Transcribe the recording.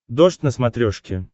дождь на смотрешке